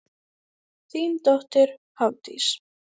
Þín dóttir Hafdís.